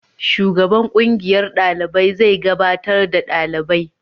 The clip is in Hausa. Shugaban kungiyar dalibai zai gabatar da dalibai.